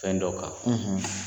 Fɛn dɔ kan